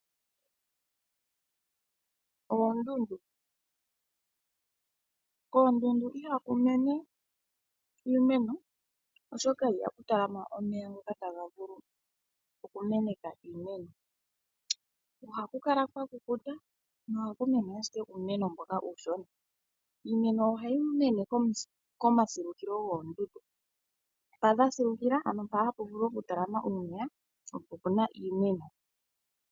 Oondundu, koondundu ihaku mene iimeno, oshoka ihaku talama omeya ngoka taga vulu oku meneka iimeno. Ohaku kala kwa kukuta nohaku mene ashike uumeno mboka uushona. Iimeno ohayi mene komasilukilo goondundu, ano mpa pwa siluka, ano mpa hapu vulu oku talama omeya, opo pu na iimeno.